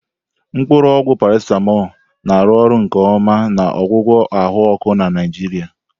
Mkpuru ogwu Paracetamol na-arụ ọrụ nke ọma na ọgwụgwọ ahụ ọkụ na Nigeria.